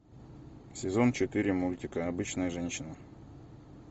сезон четыре мультика обычная женщина